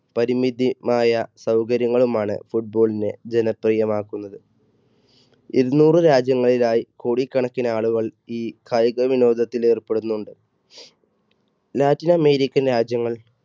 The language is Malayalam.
പരിമിതി~മായ സൗകര്യങ്ങളുമാണ് football നെ ജനപ്രിയം ആക്കുന്നത്. ഇരുനൂറ് രാജ്യങ്ങളിലായി കോടിക്കണക്കിന് ആളുകൾ ഈ കായിക വിനോദത്തിൽ ഏർപ്പെടുന്നുണ്ട്. latin american രാജ്യങ്ങൾ,